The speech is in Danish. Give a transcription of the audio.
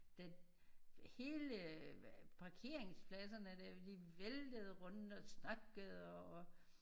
Der hele parkeringspladserne der de væltede rundt og snakkede og